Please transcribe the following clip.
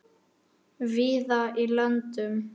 víða í löndum